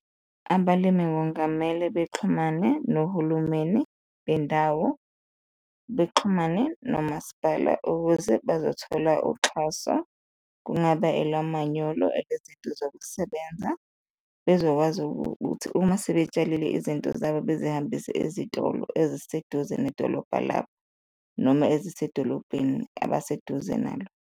Abalimi kungamele bexhumane nohulumeni bendawo, bexhumane nomasipala ukuze bazothola uxhaso. Kungaba elwa manyolo nezinto zokusebenza, bezokwazi ukuthi uma sebetsalile izinto zabo bezihambise ezitolo eziseduze nedolobha labo noma ezisedolobheni abaseduze nalo.